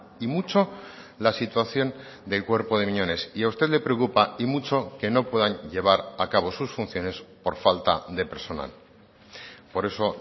y mucho la situación del cuerpo de miñones y a usted le preocupa y mucho que no puedan llevar a cabo sus funciones por falta de personal por eso